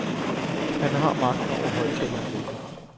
Han har magten over højttaleranlægget.